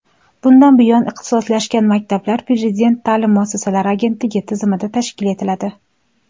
bundan buyon ixtisoslashgan maktablar Prezident ta’lim muassasalari agentligi tizimida tashkil etiladi.